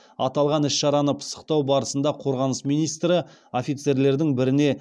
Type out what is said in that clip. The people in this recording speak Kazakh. аталған іс шараны пысықтау барысында қорғаныс министрі офицерлердің біріне